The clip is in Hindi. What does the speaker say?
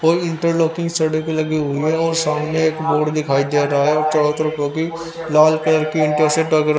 कोई इंटरलॉकिंग सड़क लगी हुई है और सामने एक बोर्ड दिखाई दे रहा है चार तरफो की लाल कलर की ईंटा से--